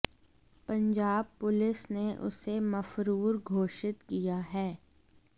Punjab police ने उसे मफरुर घोषित किया है